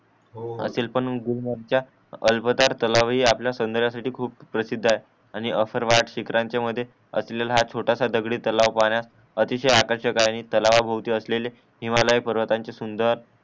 हो आतील पण गुलमर्ग च्या अल्पतर तलावे हि आपल्या सावनदाऱ्यासाठी खूप प्रसिद्ध आहे आणि सर्वहात शिखरांचे मध्ये हा असलेला हॅछोटास दगडी तलाव पाहण्या अतिशय आकर्षक आहे आणि टाळावा भवती असलेले हिमालय पर्वतांचे सुंदर